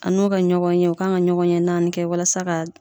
A n'u ka ɲɔgɔn ye, u kan ka ɲɔgɔn ye naani kɛ walasa ka